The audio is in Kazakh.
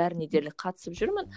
бәріне дерлік қатысып жүрмін